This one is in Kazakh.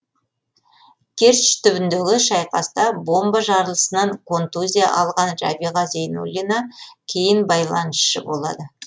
керчь түбіндегі шайқаста бомба жарылысынан контузия алған рәбиға зейнуллина кейін байланысшы болады